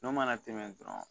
N'o mana tɛmɛ dɔrɔn